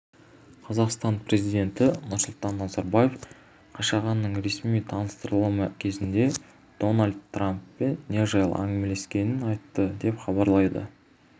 қазақстан президенті нұрсұлтан назарбаев қашағанның ресми таныстырылымы кезінде дональд трамппен не жайлы әңгімелескенін айтты деп хабарлайды